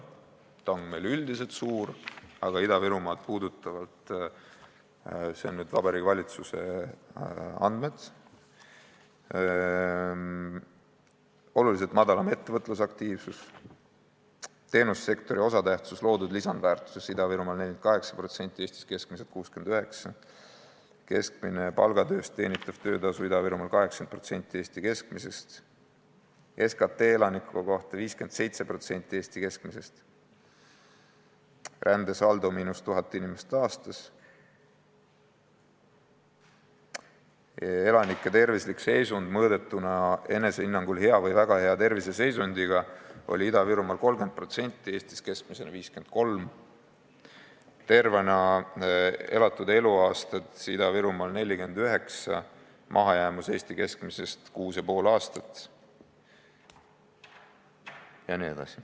See ebavõrdsus on üldiselt suur, aga toon välja Vabariigi Valitsuse andmed Ida-Virumaa kohta: oluliselt madalam ettevõtlusaktiivsus; teenussektori osatähtsus loodud lisandväärtuses Ida-Virumaal on 48%, Eestis keskmiselt 69%; keskmine palgatööst teenitav töötasu Ida-Virumaal on 80% Eesti keskmisest; SKT elaniku kohta 57% Eesti keskmisest, rändesaldo on –1000 inimest aastas; elanikke, kes hindasid oma tervislikku seisundit heaks või väga heaks, oli Ida-Virumaal 30%, Eestis keskmisena 53%; tervena elatud eluaastaid on inimestel Ida-Virumaal keskmiselt 49, mahajäämus Eesti keskmisest on kuus ja pool aastat jne.